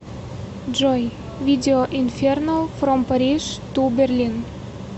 джой видео инфернал фром париж ту берлин